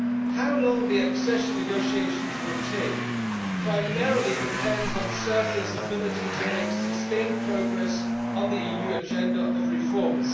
How long the accession negotiations will take primarily depends on Serbia's ability to make sustained progress on the EU agenda of reforms.